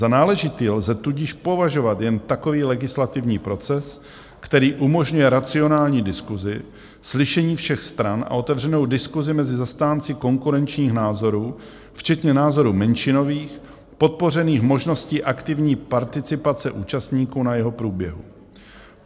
Za náležitý lze tudíž považovat jen takový legislativní proces, který umožňuje racionální diskusi, slyšení všech stran a otevřenou diskusi mezi zastánci konkurenčních názorů, včetně názorů menšinových, podpořených možností aktivní participace účastníků na jeho průběhu.